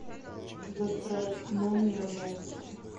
гастрономия в омске